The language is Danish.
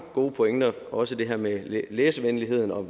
gode pointer også det her med læsevenligheden og